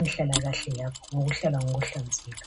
inhlalakahle yabo ngokuhlala ngokuhlanzeka